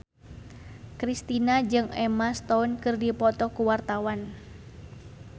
Kristina jeung Emma Stone keur dipoto ku wartawan